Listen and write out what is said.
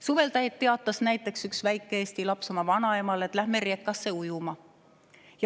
Suvel teatas üks väike eesti laps oma vanaemale, et lähme reka'sse ujuma.